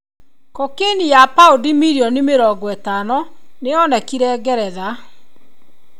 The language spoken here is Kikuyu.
Cocaine ya paundi mirioni mĩrongo ĩtano nĩ yonekire Ngeretha.